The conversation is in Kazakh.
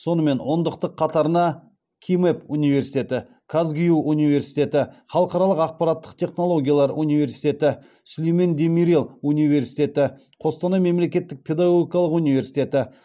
сонымен ондықтық қатарына кимэп университеті казгюу университеті халықаралық ақпараттық технологиялар университеті сүлейман демирел университеті қостанай мемлекеттік педагогикалық университеті